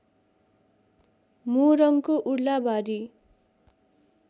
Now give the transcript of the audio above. मोरङको Urlabari